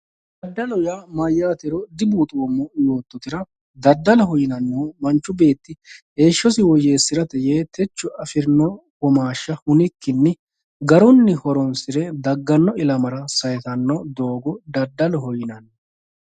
Dadalu ya mayatero dubuxomo yototera dadaloho ya manchu beti heshosi woyesara ye techo afirini womasha hunikinni garunni horinsire dagano ilamara sayisani dogo dadaloho yinanni